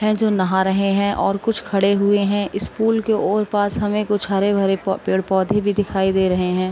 है जो नहा रहे हैं और कुछ खड़े हुए है। इस पूल के और पास हमें कुछ हरे-भरे प पेड़-पौधे भी दिखाई दे रहे हैं।